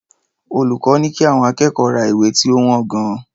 Olùkọ́ ní kí àwọn akẹ́kọ̀ọ́ ra ìwé tí ó wọ́n gan-an.